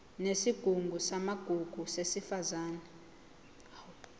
yesigungu samagugu sesifundazwe